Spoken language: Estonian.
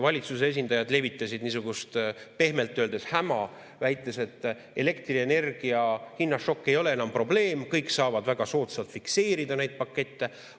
Valitsuse esindajad levitasid niisugust pehmelt öeldes häma, väites, et elektrienergia hinna šokk ei ole enam probleem, kõik saavad väga soodsalt fikseerida neid pakette.